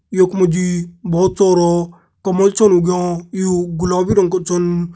यक मजी बोहोत सारा कमल छन उग्यां यूं गुलाबी रंग क छन।